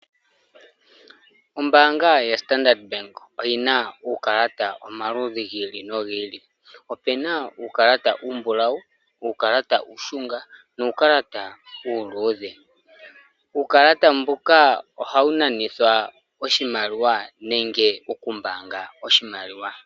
Ombaanga ya Standard bank oyina uukalata omaludhi gi ili nogi ili opena uukalata uumbulawu, uukalata uushunga nuukalata uuludhe . Uukalata mbuka ohawu nanithwa oshimaliwa nenge oku mbaanga oshimaliwa.